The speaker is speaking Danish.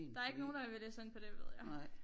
Der er ikke nogen der vil læse ind på det ved jeg